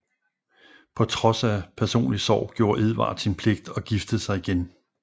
På trods af personlig sorg gjorde Edvard sin pligt og giftede sig igen